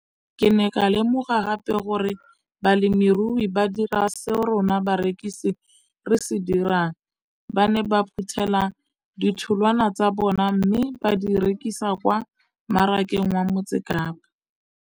Ke ne ka lemoga gape gore balemirui ba dira seo rona barekisi re se dirang, ba ne ba phuthela ditholwana tsa bona mme ba di rekisa kwa marakeng wa Motsekapa.